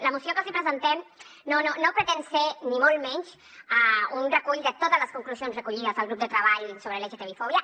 la moció que els hi presentem no pretén ser ni molt menys un recull de totes les conclusions recollides al grup de treball sobre lgtbi fòbia